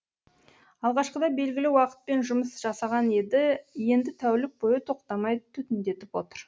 алғашқыда белгілі уақытпен жұмыс жасаған еді енді тәулік бойы тоқтамай түтіндетіп отыр